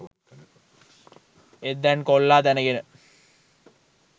ඒත් දැන් කොල්ලා දැනගෙන